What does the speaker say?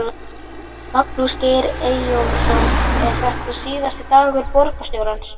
Magnús Geir Eyjólfsson: Er þetta síðasti dagur borgarstjóra?